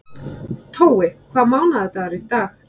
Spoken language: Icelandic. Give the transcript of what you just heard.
Tói, hvaða mánaðardagur er í dag?